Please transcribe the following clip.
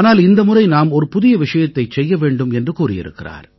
ஆனால் இந்த முறை நாம் ஒரு புதிய விஷயத்தைச் செய்ய வேண்டும் என்று கூறியிருக்கிறார்